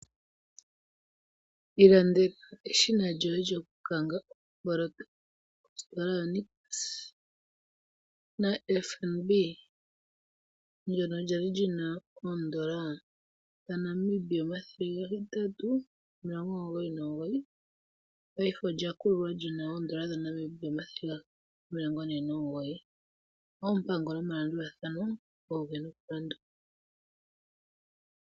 Iilandela eshina lyoye lyo ku kanga omboloto naFNB, ndyoka lya li lyina oondola dhaNamibia 899, paife olya kululwa lyina oondola dhaNamibia 749. Oompango nomalandulathano oge na okulandulwa.